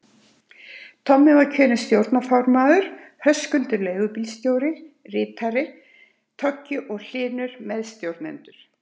Tommi var kjörinn stjórnarformaður, Höskuldur leigubílstjóri ritari, Toggi og Hlynur meðstjórnendur.